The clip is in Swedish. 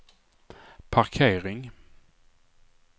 parkering